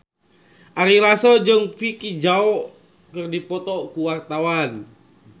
Ari Lasso jeung Vicki Zao keur dipoto ku wartawan